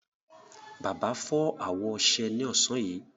Bàbá fọ́ àwọ ọṣẹ ní ọ̀sán yìí.